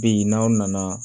Bi n'aw nana